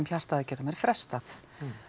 hjartaaðgerðum er frestað